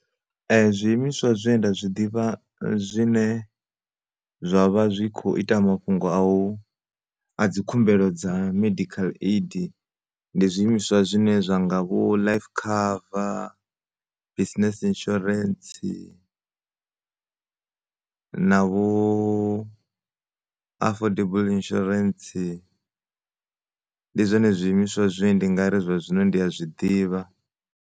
Zwiimiswa zwe nda zwiḓivha zwine zwavha zwikho ita mafhungo a u, a dzi khumbelo dza medical aid ndi zwiimiswa zwine zwanga vho life cover, business insuarensi navho afordable insuarensi. Ndi zwone zwiimiswa zwine ndi ngari zwa zwino ndi a zwiḓivha